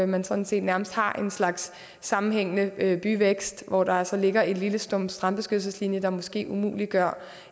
man sådan set nærmest har en slags sammenhængende byvækst hvor der altså ligger en lille stump strandbeskyttelseslinje der måske umuliggør